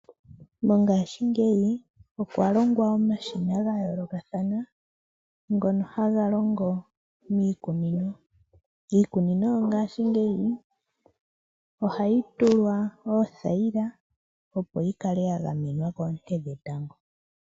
Mongashingeyi okwa longwa omashina ga yoolokathana ngono ha ga longo miikunino. Iikunino yongashingeyi oha yi tulwa oothayila opo yi kale ya gamenwa koonte dhetango.